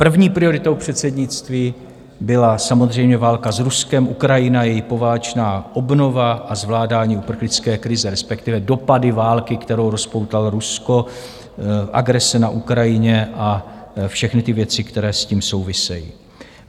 První prioritou předsednictví byla samozřejmě válka s Ruskem, Ukrajina, její poválečná obnova a zvládání uprchlické krize, respektive dopady války, kterou rozpoutalo Rusko, agrese na Ukrajině a všechny ty věci, které s tím souvisejí.